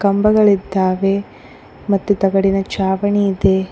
ಕಂಬಗಳಿದ್ದಾವೆ ಮತ್ತು ತಗಡಿನ ಛಾವಣಿ ಇದೆ.